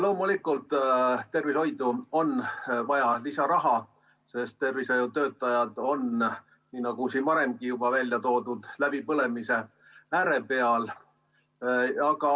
Loomulikult, tervishoidu on vaja lisaraha, sest tervishoiutöötajad on, nii nagu siin varemgi juba välja on toodud, läbipõlemise ääre peal.